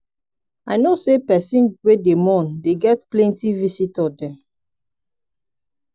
i know sey pesin wey dey mourn dey get plenty visitor dem.